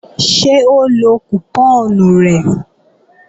Ṣé ó lọ kùpọ́ọ̀nù rẹ̀